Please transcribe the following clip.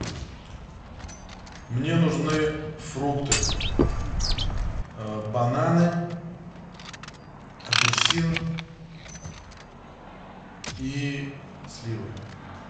мне нужны фрукты бананы апельсин и сливы